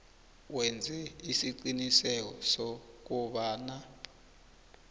wenze isiqiniseko sokobana